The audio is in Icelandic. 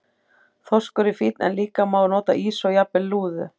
Þorskur er fínn en líka má nota ýsu og jafnvel lúðu.